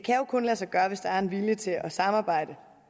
arbejder